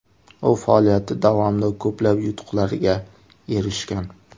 U faoliyati davomida ko‘plab yutuqlarga erishgan.